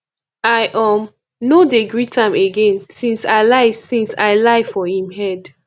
i um no dey greet am again since i lie since i lie for im head